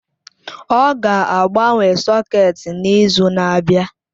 Ọ ga-agbanwe sọ̀két n'izu na-abịa.